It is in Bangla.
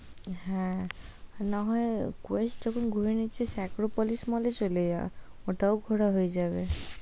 হ্যাঁ, না হয় কোয়েষ্ট যখন ঘুরে নিয়েছিস আক্ক্রপলিস mall এ ও চলে যা, ওটাও ঘোরা হয়ে যাবে, "